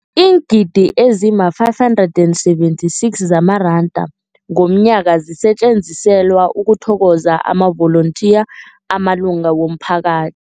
Iingidi ezima-576 zamaranda ngomnyaka zisetjenziselwa ukuthokoza amavolontiya amalunga womphaka